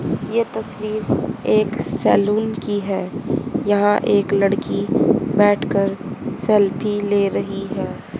ये तस्वीर एक सैलून की है यहां एक लड़की बैठकर सेल्फी ले रही है।